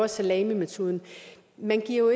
salamimetoden man giver jo